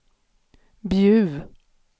Bjuv